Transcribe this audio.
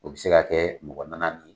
U bi se ka kɛ mɔgɔ naani naani